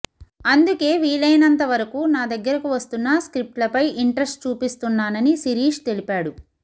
అందుకే వీలైనంతవరకు నా దగ్గరకు వస్తున్న స్క్రిప్ట్ లపై ఇంట్రెస్ట్ చూపిస్తున్ననని శిరీష్ తెలిపాడు